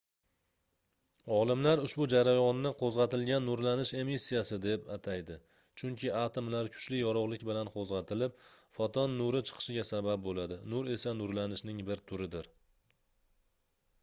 olimlar ushbu jarayonni qoʻzgʻatilgan nurlanish emissiyasi den ataydi chunki atomlar kuchli yorugʻlik bilan qoʻzgʻatilib foton nuri chiqishiga sabab boʻladi nur esa nurlanishning bir turidir